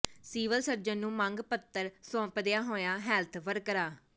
civil surgeon ਨੂੰ ਮੰਗ ਪੱਤਰ ਸੌਂਪਦੀਆਂ ਹੋਈਆਂ ਹੈਲਥ ਵਰਕਰਾਂ